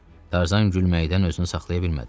Tarzan gülməkdən özünü saxlaya bilmədi.